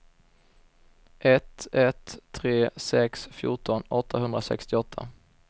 ett ett tre sex fjorton åttahundrasextioåtta